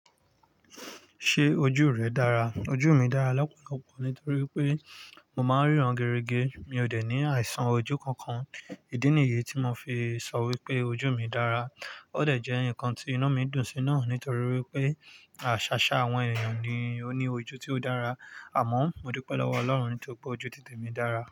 Ṣé ojú rẹ dára? Ojú mi dára lọ́pọ̀lọpọ̀ nítorí pé mo máa ń ríran gerige. Mi ò dè ní àìsàn ojú kankan. Ìdí nìyi tí mo fi sọ wípé ojú mi dára. Ó dẹ̀ jẹ́ ǹkan tí inu mi dùn sí náà nítorí wípé àṣàṣá àwọn èniyan ni ó ní ojú tí ó dára. Àmọ́ mo dúpẹ́ lọ́wọ́ Ọlọ́run nítorí pé ojú tìtẹ̀ mi dára.